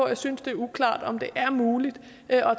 jeg synes det er uklart om det er muligt at